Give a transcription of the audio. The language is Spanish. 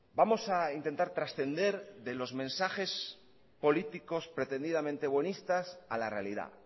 vamos a intentar trascender de los mensajes políticos pretendidamente buenistas a la realidad